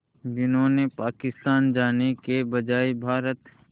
जिन्होंने पाकिस्तान जाने के बजाय भारत